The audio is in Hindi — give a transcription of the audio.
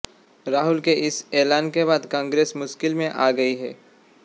राहुल के इस ऐलान के बाद कांग्रेस मुश्किल में आ गई है